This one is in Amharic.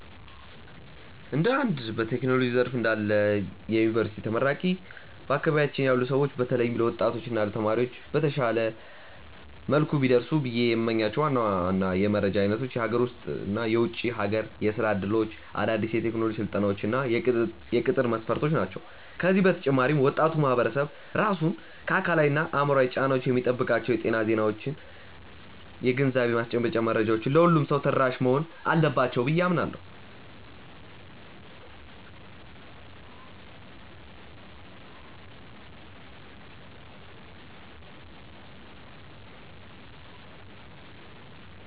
እንደ አንድ በቴክኖሎጂው ዘርፍ ላይ እንዳለ የዩኒቨርሲቲ ተመራቂ፣ በአካባቢያችን ላሉ ሰዎች በተለይም ለወጣቶች እና ለተማሪዎች በተሻለ መልኩ ቢደርሱ ብዬ የምመኛቸው ዋና ዋና የመረጃ አይነቶች የሀገር ውስጥ እና የውጭ ሀገር የሥራ ዕድሎች፣ አዳዲስ የቴክኖሎጂ ስልጠናዎች እና የቅጥር መስፈርቶች ናቸው። ከዚህ በተጨማሪ ወጣቱ ማህበረሰብ ራሱን ከአካላዊና አእምሯዊ ጫናዎች የሚጠብቅባቸው የጤና ዜናዎችና የግንዛቤ ማስጨበጫ መረጃዎች ለሁሉም ሰው ተደራሽ መሆን አለባቸው ብዬ አምናለሁ።